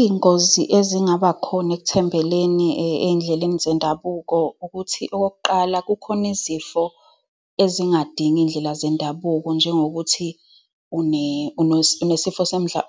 Iy'ngozi ezingaba khona ekuthembeleni ey'ndleleni zendabuko ukuthi, okokuqala, kukhona izifo ezingadingi iy'ndlela zendabuko. Njengokuthi, unesifo